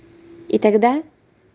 и тогда